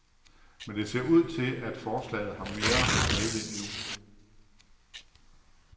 Men det ser ud til, at forslaget har mere medvind nu.